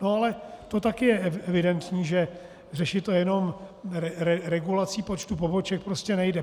No ale to také je evidentní, že řešit to jenom regulací počtu poboček prostě nejde.